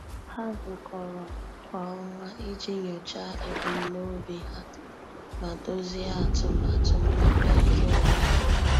Há zùkọ́rọ́ kwa ọnwa iji nyòcháá ebumnobi ha ma dòzìé atụmatụ mmepe nke onwe ha.